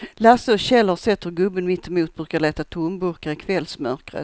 Lasse och Kjell har sett hur gubben mittemot brukar leta tomburkar i kvällsmörkret.